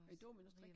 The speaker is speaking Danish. Er det dominostrik?